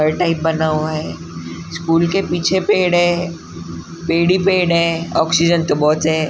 घर टाइप बना हुआ है स्कूल के पीछे पेड़ हैं पेड़ ही पेड़ हे ऑक्सीजन तो बहुत है।